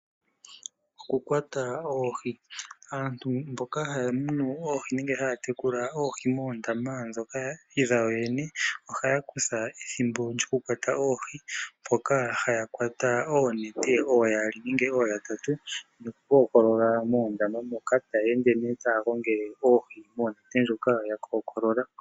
Okukwata oohi. Aantu mboka haya munu oohi nenge haya tekula oohi moondama ndhoka dhawo yene, ohaya kutha ethimbo lyoku kwata oohi, Mpoka haya kwata oonete ooyaali nenge ooyatatu nokukookolola moondama moka taya ende nee taya gongele oohi mondama ndjoka taya kookolola.